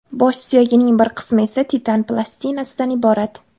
Bosh suyagining bir qismi esa titan plastinasidan iborat.